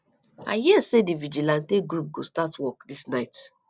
i hear say the vigilante group go start work dis night